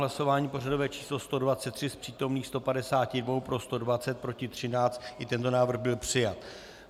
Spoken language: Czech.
Hlasování pořadové číslo 123, z přítomných 152 pro 120, proti 13, i tento návrh byl přijat.